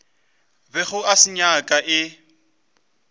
bego a se nyaka e